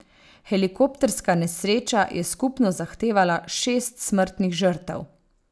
Helikopterska nesreča je skupno zahtevala šest smrtnih žrtev.